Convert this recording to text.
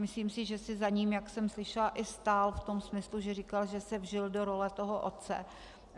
Myslím si, že si za ním, jak jsem slyšela, i stál v tom smyslu, že říkal, že se vžil do role toho otce.